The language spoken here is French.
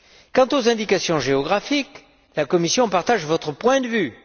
Quant aux indications géographiques, la Commission partage votre point de vue.